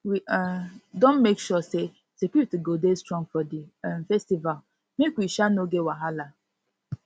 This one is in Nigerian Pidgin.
we um don make sure say security go dey strong for di um festival make we um no get wahala